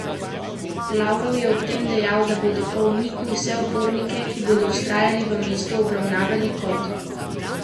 Lavrov je ob tem dejal, da bodo po umiku vse upornike, ki bodo vztrajali v mestu, obravnavali kot teroriste.